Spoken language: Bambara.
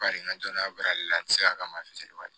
Bari n ka dɔnniya bari ale la n ti se ka kama fitirima de ye